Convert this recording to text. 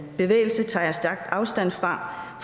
bevægelse tager jeg stærkt afstand fra